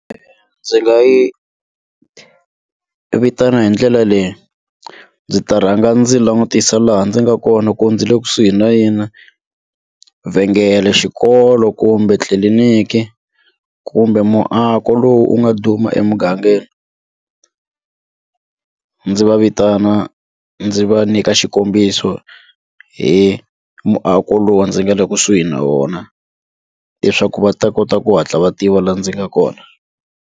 Ndzi nga yi vitana hi ndlela leyi ndzi ta rhanga ndzi langutisa laha ndzi nga kona ku ndzi le kusuhi na yini na vhengele xikolo kumbe tliliniki kumbe muako lowu wu nga duma emugangeni ndzi va vitana ndzi va nyika xikombiso hi muako lowu ndzi nga le kusuhi na wona leswaku va ta kota ku hatla va tiva laha ndzi nga kona.